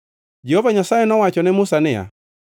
Jehova Nyasaye nowacho ne Musa niya,